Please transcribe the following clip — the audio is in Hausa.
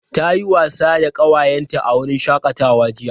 Ta yi wasa da ƙawayenta a wurin shakatawa jiya.